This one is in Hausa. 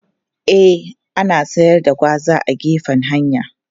E, ana siyar da gwaza a gefen hanya.